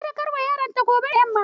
Sadaukarwar yaronta gobe ne da yamma.